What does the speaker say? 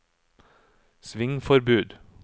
svingforbud